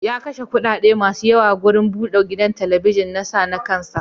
Ya kashe kuɗaɗe masu yawa wurin bude gidan talabijin na sa na kan sa.